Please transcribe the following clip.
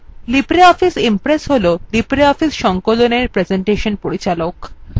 libreoffice impress হল libreoffice সংকলনের presentation পরিচালক